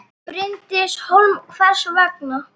Bryndís Hólm: Hvers vegna?